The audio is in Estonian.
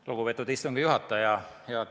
Lugupeetud istungi juhataja!